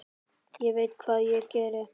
Ég veit hvað ég geri.